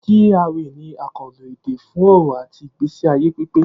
G.R.A ni àkànlò èdè fún ọrọ̀ àti ìgbésí ayé pípé